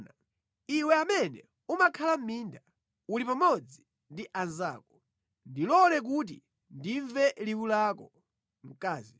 Iwe amene umakhala mʼminda uli pamodzi ndi anzako, ndilole kuti ndimve liwu lako!